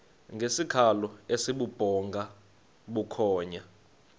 ngesikhalo esibubhonga bukhonya